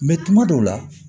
tuma dɔw la